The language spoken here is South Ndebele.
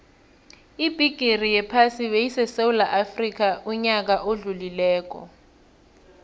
ibigixi yephasi beyisesewula afxica uyaka odlulile